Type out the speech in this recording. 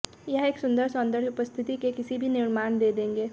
यह एक सुंदर सौंदर्य उपस्थिति के किसी भी निर्माण दे देंगे